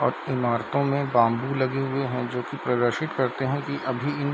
इमारतों में बाम्बू लगे हुए हैं जो की प्रदर्शित करते हैं की अभी इन --